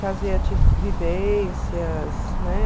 Fazer vivências, né?